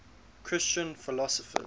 christian philosophers